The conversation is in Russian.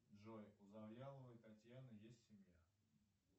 джой у завьяловой татьяны есть семья